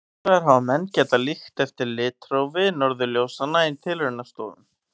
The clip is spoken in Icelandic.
Hins vegar hafa menn getað líkt eftir litrófi norðurljósanna í tilraunastofum.